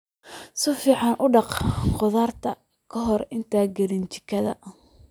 Si fiican u dhaq khudaarta ka hor intaadan gelin jikada.